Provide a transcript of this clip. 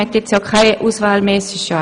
Man hat ja auch keine Auswahl mehr.